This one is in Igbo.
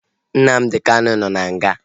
Nnamdi Kanu nọ n'nga